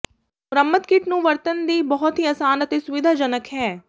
ਮੁਰੰਮਤ ਕਿੱਟ ਨੂੰ ਵਰਤਣ ਦੀ ਬਹੁਤ ਹੀ ਆਸਾਨ ਅਤੇ ਸੁਵਿਧਾਜਨਕ ਹੈ